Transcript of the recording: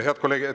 Head kolleegid …